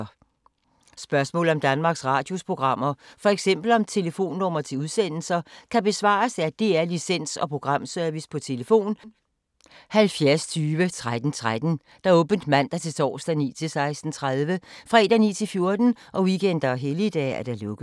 Spørgsmål om Danmarks Radios programmer, f.eks. om telefonnumre til udsendelser, kan besvares af DR Licens- og Programservice: tlf. 70 20 13 13, åbent mandag-torsdag 9.00-16.30, fredag 9.00-14.00, weekender og helligdage: lukket.